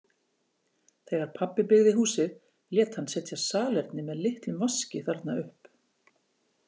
Þegar pabbi byggði húsið lét hann setja salerni með litlum vaski þarna upp.